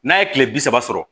N'a ye kile bi saba sɔrɔ